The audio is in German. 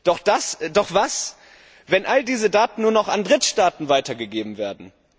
Doch was, wenn all diese Daten nur noch an Drittstaaten weitergegeben werden?